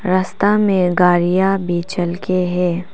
रस्ता में गाड़िया भी चलके है।